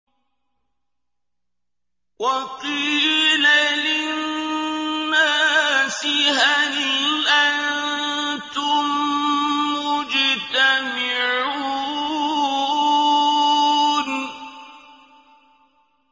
وَقِيلَ لِلنَّاسِ هَلْ أَنتُم مُّجْتَمِعُونَ